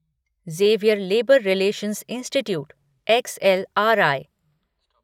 Xavier labour relations institute XLRI